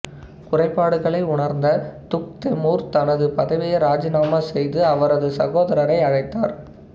குறைபாடுகளை உணர்ந்த Tugh Temur தனது பதவியை ராஜினாமா செய்து அவரது சகோதரரை அழைத்தார்